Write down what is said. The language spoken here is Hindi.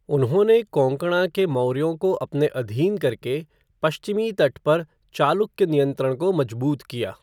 उन्होंने कोंकणा के मौर्यों को अपने अधीन करके पश्चिमी तट पर चालुक्य नियंत्रण को मजबूत किया।